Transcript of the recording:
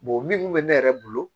minnu bɛ ne yɛrɛ bolo